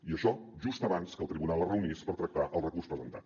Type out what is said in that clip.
i això just abans que el tribunal es reunís per tractar el recurs presentat